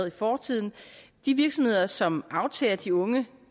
i fortiden de virksomheder som aftager de unge